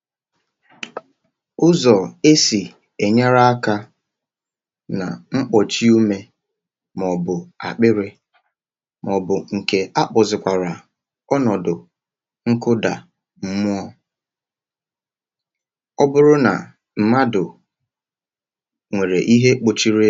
Ụzọ e si enyere onye nwere ihe kpuchiri ume ya, ma ọ bụ onye ihe jidere n’akpịrị ya, ma ọ bụ onye dara ma kwụsị ịkụ ume, bụ otú a. Ọ bụrụ na mmadụ nwere ihe kpọchiri